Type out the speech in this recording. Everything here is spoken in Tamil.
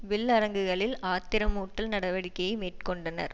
வில் அரங்குகளில் ஆத்திரமூட்டல் நடவடிக்கையை மேற்கொண்டனர்